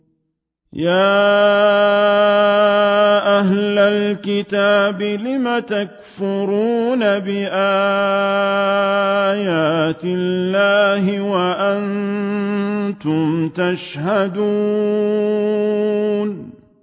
يَا أَهْلَ الْكِتَابِ لِمَ تَكْفُرُونَ بِآيَاتِ اللَّهِ وَأَنتُمْ تَشْهَدُونَ